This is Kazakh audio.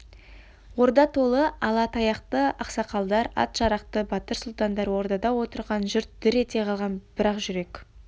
орда толы ала таяқты ақсақалдар ат-жарақты батыр сұлтандар ордада отырған жұрт дір ете қалған бірақ жүрек